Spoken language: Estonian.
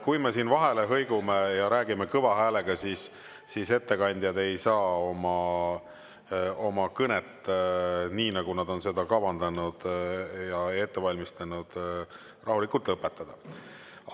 Kui me siin vahele hõigume ja räägime kõva häälega, siis ettekandjad ei saa oma kõnet nii, nagu nad on seda kavandanud ja ette valmistanud, rahulikult lõpetada.